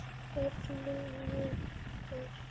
BÖRN LÝKUR